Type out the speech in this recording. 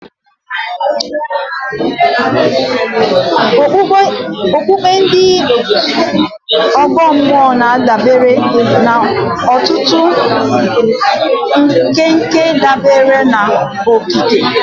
Okpukpe ndị ọgọ mmụọ na-adabere n'ọtụtụ nkwenkwe dabere n'okike.